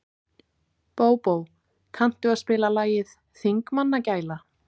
Bóbó, kanntu að spila lagið „Þingmannagæla“?